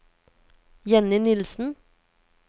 Jenny Nilsen